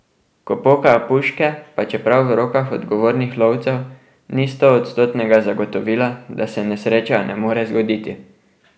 Ko pokajo puške, pa čeprav v rokah odgovornih lovcev, ni stoodstotnega zagotovila, da se nesreča ne more zgoditi.